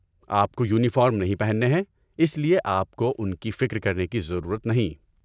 آپ کو یونیفارم نہیں پہننے ہیں، اس لیے آپ کو ان کی فکر کرنے کی ضرورت نہیں۔